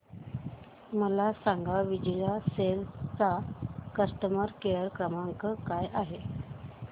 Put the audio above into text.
मला सांगा विजय सेल्स चा कस्टमर केअर क्रमांक काय आहे